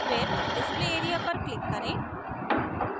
फिर display area पर click करें